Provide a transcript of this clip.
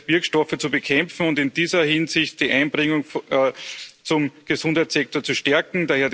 Wirkstoffe zu bekämpfen und in dieser Hinsicht die Einbringung zum Gesundheitssektor zu stärken.